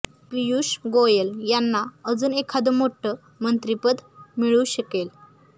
पियुष गोयल यांना अजून एखाद मोठं मंत्रीपद मिळू शकेल